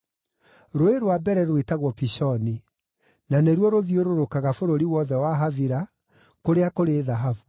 Rũũĩ rwa mbere rwĩtagwo Pishoni; na nĩruo rũthiũrũrũkaga bũrũri wothe wa Havila, kũrĩa kũrĩ thahabu.